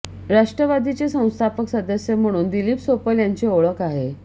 राष्ट्रवादीचे संस्थापक सदस्य म्हणून दिलीप सोपल यांची ओळख आहे